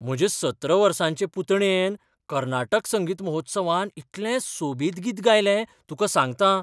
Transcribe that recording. म्हजे सतरा वर्सांचे पुतणयेन कर्नाटक संगीत महोत्सवांत इतलें सोबीत गीत गायलें, तुका सांगतां!